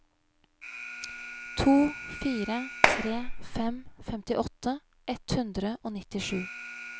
to fire tre fem femtiåtte ett hundre og nittisju